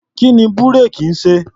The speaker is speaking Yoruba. Kí ni búréèkì ń ṣe?